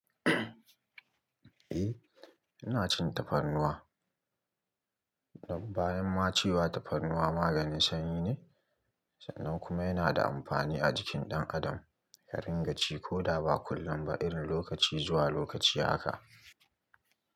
Eh, ina cin tafarnuwa. Nan bayan ma cewa tafarnuwa maganin sanyi ne, sannan kuma yana da amfani a jikin ɗan adam, ka ringa ci ko da ba kullum ba, irin lokaci zuwa lokaci haka.